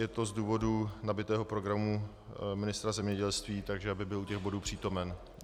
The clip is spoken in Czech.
Je to z důvodu nabitého programu ministra zemědělství, takže aby byl u těchto bodů přítomen.